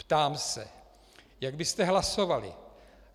Ptám se, jak byste hlasovali.